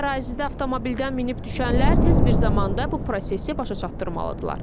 Bu ərazidə avtomobildən minib düşənlər tez bir zamanda bu prosesi başa çatdırmalıdırlar.